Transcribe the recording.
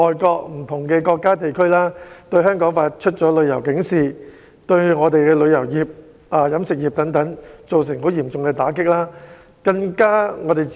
不同國家和地區向香港發出旅遊警示，對我們的旅遊業及飲食業均造成嚴重打擊。